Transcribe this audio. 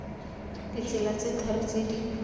ditsela tse tharo tse di